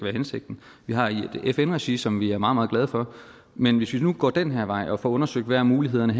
hensigten vi har et fn regi som vi er meget meget glade for men hvis vi nu går den her vej og får undersøgt hvad mulighederne